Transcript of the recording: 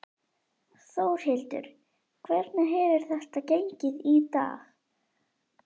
Þórhildur: Hvernig hefur þetta gengið í dag?